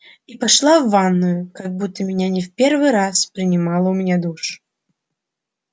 и пошла в ванную как будто меня не в первый раз принимала у меня душ